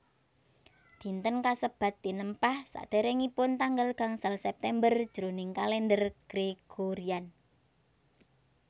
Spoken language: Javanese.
Dinten kasebat tinempah saderengipun tanggal gangsal September jroning kalender Gregorian